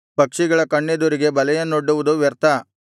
ಪಕ್ಷಿಗಳ ಕಣ್ಣೆದುರಿಗೆ ಬಲೆಯನ್ನೊಡ್ಡುವುದು ವ್ಯರ್ಥ